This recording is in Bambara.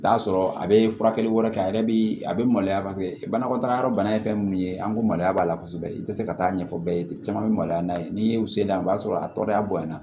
T'a sɔrɔ a be furakɛli wɛrɛ kɛ a yɛrɛ bi a bɛ maloya paseke banakɔtaga yɔrɔ bana ye fɛn min ye an ko maloya b'a la kosɛbɛ i tɛ se ka taa ɲɛfɔ bɛɛ ye caman bɛ maloya n'a ye n'i y'u seliya o b'a sɔrɔ a tɔɔrɔya bonyana